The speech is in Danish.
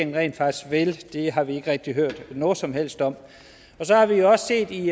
rent faktisk vil det har vi ikke rigtig hørt noget som helst om og så har vi jo også set i